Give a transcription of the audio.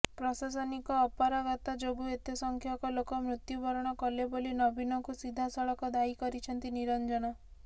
ପ୍ରଶାସନିକ ଅପାରଗତା ଯୋଗୁଁ ଏତେ ସଂଖ୍ୟକ ଲୋକ ମୃତ୍ୟୁବରଣ କଲେ ବୋଲି ନବୀନଙ୍କୁ ସିଧାସଳଖ ଦାୟୀ କରିଛନ୍ତି ନିରଞ୍ଜନ